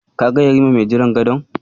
Ka ga yarima mai jiran gadon?